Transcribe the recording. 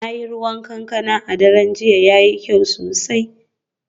Na yi ruwan kankana a daren jiya, yayi kyau sosai